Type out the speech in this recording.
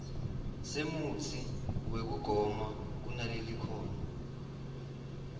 semutsi wekugoma kunalelikhono